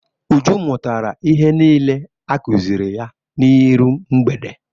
Uju mụtara ihe niile a kụziri ya n'iru mgbede.